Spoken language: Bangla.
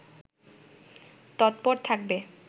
তৎপর থাকবে